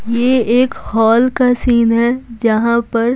यह एक हॉल का सीन है जहां पर।